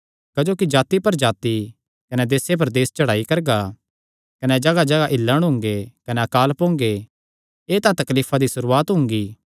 क्जोकि जाति पर जाति कने देस पर देस चढ़ाई करगा कने जगाहजगाह हिल्लण हुंगे कने अकाल पोंगे एह़ तां तकलीफां दी सुरुआत हुंगी